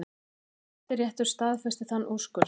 Hæstiréttur staðfesti þann úrskurð í dag